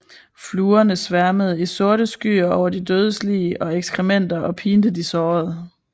Fluerne sværmede i sorte skyer over de dødes lig og ekskrementer og pinte de sårede